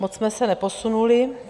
Moc jsme se neposunuli.